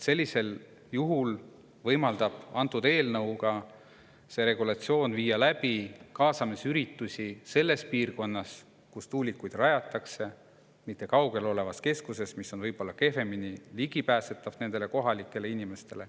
Sellisel juhul võimaldab antud eelnõu ja see regulatsioon viia läbi kaasamisüritusi selles piirkonnas, kuhu tuulikuid rajatakse, mitte kaugel olevas keskuses, mis on nende kohalike inimeste jaoks võib-olla kehvemini ligipääsetav.